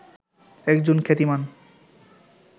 একজন খ্যাতিমান